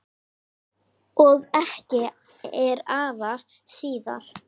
Og ekki er afi síðri.